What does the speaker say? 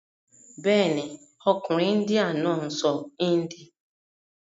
Bẹ́ẹ̀ni, ọkùnrin índíà náà sọ índì.